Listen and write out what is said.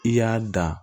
I y'a da